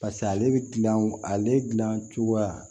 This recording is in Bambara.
paseke ale be gilan ale gilan cogoya